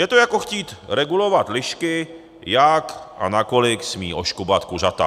Je to, jako chtít regulovat lišky, jak a nakolik smí oškubat kuřata.